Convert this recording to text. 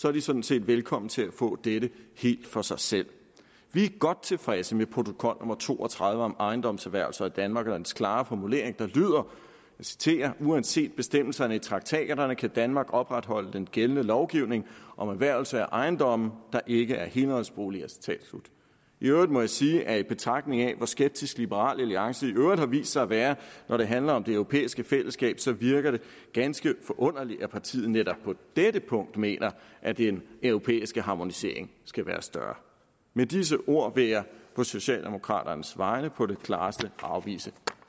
er de sådan set velkomne til at få dette helt for sig selv vi er godt tilfredse med protokol nummer to og tredive om ejendomserhvervelse i danmark og dens klare formulering der lyder og citerer uanset bestemmelserne i traktaterne kan danmark opretholde den gældende lovgivning om erhvervelse af ejendomme der ikke er helårsboliger i øvrigt må jeg sige at i betragtning af hvor skeptisk liberal alliance i øvrigt har vist sig at være når det handler om det europæiske fællesskab så virker det ganske forunderligt at partiet netop på dette punkt mener at den europæiske harmonisering skal være større med disse ord vil jeg på socialdemokraternes vegne på det klareste afvise